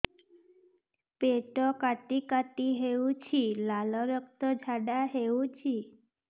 ପେଟ କାଟି କାଟି ହେଉଛି ଲାଳ ରକ୍ତ ଝାଡା ହେଉଛି